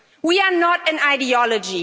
We are not an ideology.